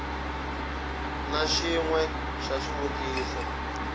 na xin we xa swivutiso